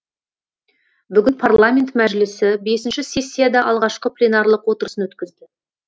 бүгін парламент мәжілісі бесінші сессияда алғашқы пленарлық отырысын өткізді